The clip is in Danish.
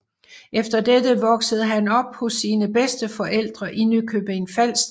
Efter dette voksede han op hos sine bedsteforældre i Nykøbing Falster